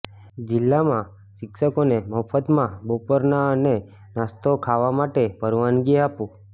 જિલ્લામાં શિક્ષકોને મફતમાં બપોરના અને નાસ્તો ખાવા માટે પરવાનગી આપો